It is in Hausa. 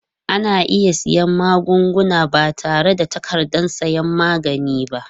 Ana iya siyan magunguna ba tare da takardar sayan magani ba.